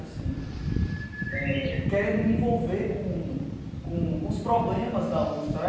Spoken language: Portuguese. Assim eh, querendo me envolver com com com os problemas da USP, sabe?